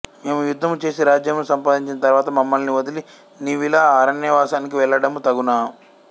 మేము యుద్ధము చేసి రాజ్యమును సంపాదించిన తరువాత మమ్మలిని వదిలి నీవిలా అరణ్యవాసానికి వెళ్ళడము తగునా